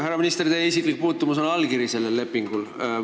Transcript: Härra minister, teie isiklik puutumus on allkiri sellel lepingul.